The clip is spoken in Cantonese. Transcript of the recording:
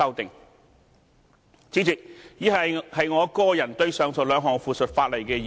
代理主席，以下是我個人對於上述兩項附屬法例的意見。